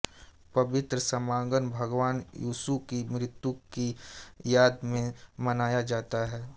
पवित्र समागम भगवान यीशु की मृत्यु की याद में मनाया जाता है